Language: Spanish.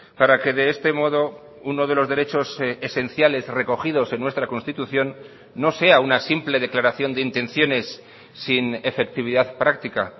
para que de este modo uno de los derechos esenciales recogidos en nuestra constitución no sea una simple declaración de intenciones sin efectividad práctica